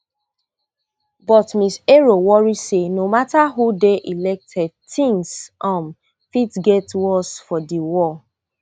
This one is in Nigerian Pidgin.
but ms ero worry say no mata who dey elected tins um fit get worse for di world